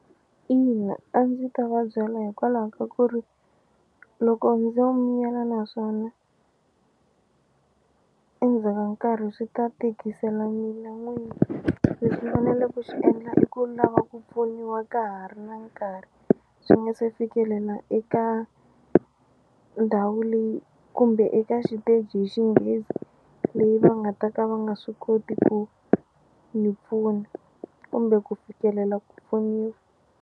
Ina, a ndzi ta vabyela hikwalaho ka ku ri loko ndzo miyela naswona endzhaka nkarhi swi ta tikisela mina n'wini leswi ni fanele ku swi endla i ku lava ku pfuniwa ka ha ri na nkarhi swi nga se fikelela eka ndhawu leyi kumbe eka xiteji hi xinghezi leyi va nga ta ka va nga swi koti ku ni pfuna kumbe ku fikelela ku pfuniwa.